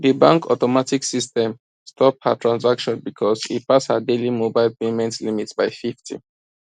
di bank automatic system stop her transaction because e pass her daily mobile payment limit by 50